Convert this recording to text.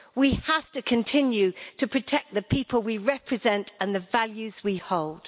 We have to continue to protect the people we represent and the values we hold.